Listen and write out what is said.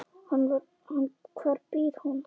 Hvar býr hún?